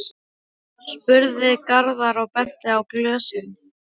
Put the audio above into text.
spurði Garðar og benti á glösin.